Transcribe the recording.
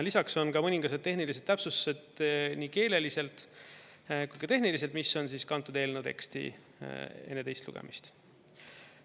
Lisaks on ka mõningased tehnilised täpsustused nii keeleliselt kui ka tehniliselt, mis on kantud eelnõu teksti enne teist lugemist.